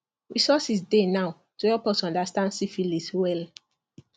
resources dey now to help us understand syphilis well